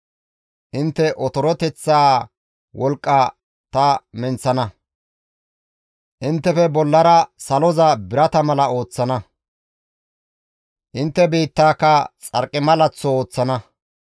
Intte otoroteththaa wolqqa ta menththana; inttefe bollara saloza birata mala ooththana; intte biittaaka xarqimalaththo ooththana.